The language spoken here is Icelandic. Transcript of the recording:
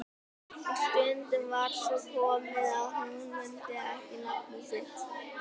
Og stundum var svo komið að hún mundi ekki nafnið sitt.